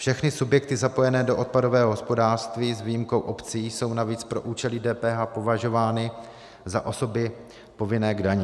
Všechny subjekty zapojené do odpadového hospodářství s výjimkou obcí jsou navíc pro účely DPH považovány za osoby povinné k dani.